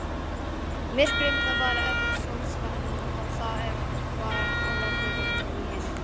Myrkrið var enn sótsvart og það var hrollur í henni.